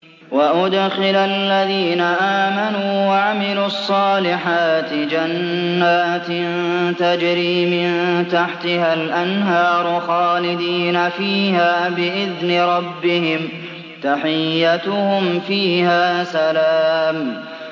وَأُدْخِلَ الَّذِينَ آمَنُوا وَعَمِلُوا الصَّالِحَاتِ جَنَّاتٍ تَجْرِي مِن تَحْتِهَا الْأَنْهَارُ خَالِدِينَ فِيهَا بِإِذْنِ رَبِّهِمْ ۖ تَحِيَّتُهُمْ فِيهَا سَلَامٌ